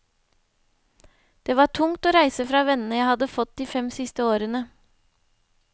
Det var tungt å reise fra vennene jeg hadde fått de fem siste årene.